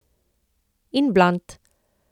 In blond.